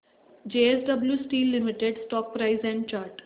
JSW steel limited stock price and chart